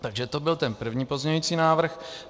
Takže to byl ten první pozměňující návrh.